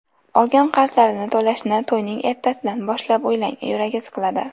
Olgan qarzlarini to‘lashni to‘yning ertasidan boshlab o‘ylab, yuragi siqiladi.